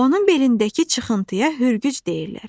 Onun belindəki çıxıntıya hürgüc deyirlər.